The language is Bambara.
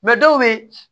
dɔw bɛ yen